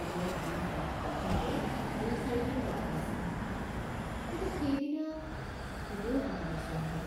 অনেকদিন দাঁত কাটোতে দুইচাৰিজন লগ পাইছিলোঁ কিন্তু সেইদিনা কোনেও হাতী নোচোৱা হল